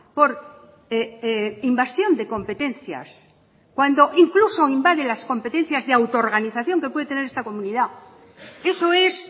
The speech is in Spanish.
por invasión de competencias cuando incluso invade las competencias de autoorganización que puede tener esta comunidad eso es